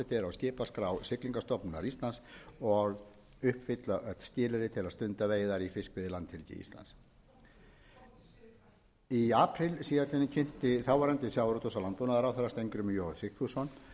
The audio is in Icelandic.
skipaskrá siglingastofnunar íslands og uppfylla öll skilyrði til að stunda veiðar í fiskveiðilandhelgi íslands í apríl síðastliðnum kynnti þáverandi sjávarútvegs og landbúnaðarráðherra steingrímur j sigfússon